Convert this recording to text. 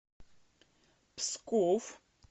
псков